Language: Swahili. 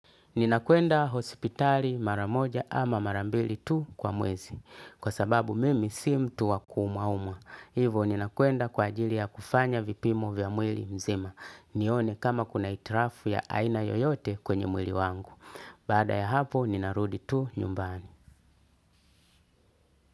Ninakwenda hosipitari maramoja ama mara mbili tu kwa mwezi. Kwa sababu mimi si mtu wa ku umauma. Hivo ninakwenda kwa ajili ya kufanya vipimo vya mwili mzima. Nione kama kuna hitilafu ya aina yoyote kwenye mwili wangu. Baada ya hapo ninarudi tu nyumbani.